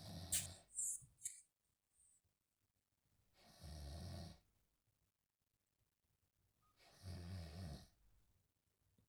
ntumia mbekun naatonyorayioki,(nemeibung emoyian)aiduriedurie nkaitubulu, usafi emukunta o ilkiek lolamunyani